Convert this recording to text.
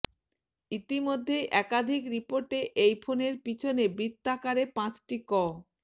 ইতিমধ্যেই একাধিক রিপোর্টে এই ফোনের পিছনে বৃত্তাকারে পাঁচটি ক